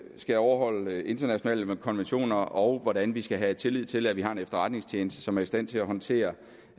skal overholde internationale konventioner og hvordan vi skal have tillid til at vi har en efterretningstjeneste som er i stand til at håndtere